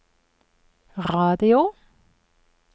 radio